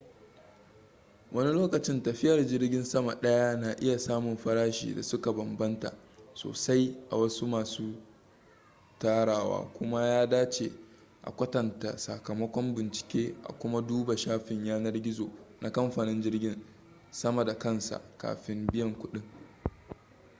wani lokacin tafiyar jirgin sama ɗaya na iya samun farashi da suka bambanta sosai a wasu masu tarawa kuma ya dace a kwatanta sakamakon bincike a kuma duba shafin yanar gizo na kamfanin jirgin sama da kansa kafin biyan kuɗi